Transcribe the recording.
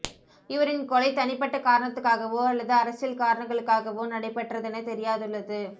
இவரின் கொலை தனிப்பட்ட காரணத்துக்காகவா அல்லது அரசியல் காரணங்களுக்காகவா நடைபெற்றதெனத் தெரியாதுள்ளது